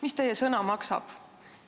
Mis teie sõna maksab?